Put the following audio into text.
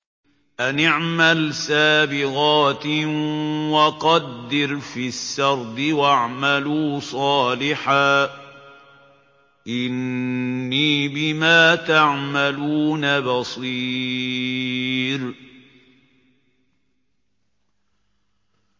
أَنِ اعْمَلْ سَابِغَاتٍ وَقَدِّرْ فِي السَّرْدِ ۖ وَاعْمَلُوا صَالِحًا ۖ إِنِّي بِمَا تَعْمَلُونَ بَصِيرٌ